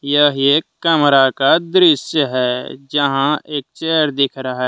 यह एक कमरा का दृश्य है जहां एक चेयर दिख रहा है ।